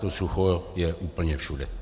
To sucho je úplně všude.